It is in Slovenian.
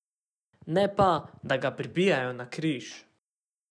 Ne pa, da ga pribijajo na križ.